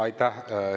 Aitäh!